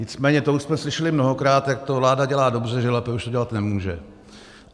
Nicméně to už jsme slyšeli mnohokrát, jak to vláda dělá dobře, že lépe už to dělat nemůže.